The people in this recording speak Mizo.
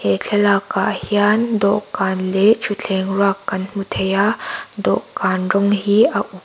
he thlalak ah hian dawhkan leh thutthleng ruak kan hmu thei a dawhkan rawng hi a u--